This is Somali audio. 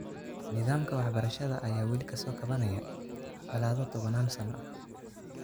Nidaamka waxbarashada ayaa weli ka soo kabanaya colaado tobanaan sano ah.